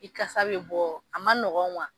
I kasa bɛ bɔ a ma nɔgɔ